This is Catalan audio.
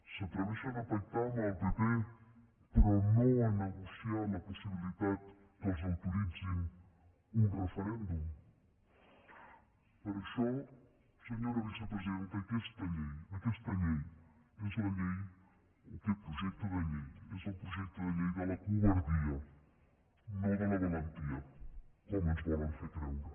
s’atreveixen a pactar amb el pp però no a negociar la possibilitat que els autoritzin un referèndum per això senyora vicepresidenta aquesta llei o aquest projecte de llei és el projecte de llei de la covardia no de la valentia com ens volen fer creure